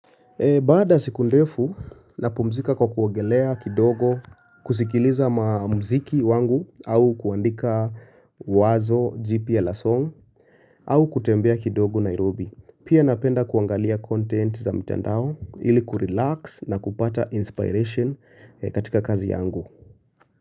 Bada siku ndefu na pumzika kwa kuogelea kidogo kusikiliza ma mziki wangu au kuandika wazo hiya la song au kutembea kidogo Nairobi. Pia napenda kuangalia content za mtandao ili kurelax na kupata inspiration katika kazi yangu.